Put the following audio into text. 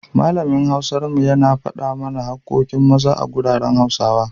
Malamin Hausar mu, yana faɗa mana haƙƙoƙin Maza a garuruwan Hausawa.